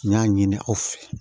N y'a ɲini aw fɛ